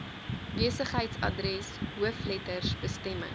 besigheidsadres hoofletters bestemming